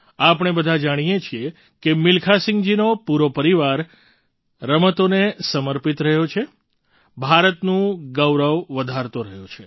આપણે બધા જાણીએ છીએ કે મિલ્ખાસિંહજીનો પૂરો પરિવાર ખેલોને સમર્પિત રહ્યો છે ભારતનું ગૌરવ વધારતો રહ્યો છે